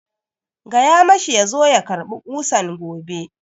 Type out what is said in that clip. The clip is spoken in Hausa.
Tell him to come for the nails tomorrow!